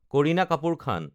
Kareena Kapoor Khan